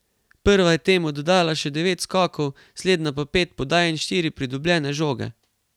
Prva je temu dodala še devet skokov, slednja pa pet podaj in štiri pridobljene žoge.